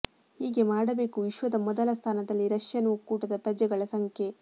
ಹೀಗೆ ಮಾಡಬೇಕು ವಿಶ್ವದ ಮೊದಲ ಸ್ಥಾನದಲ್ಲಿ ರಷ್ಯನ್ ಒಕ್ಕೂಟದ ಪ್ರಜೆಗಳ ಸಂಖ್ಯೆ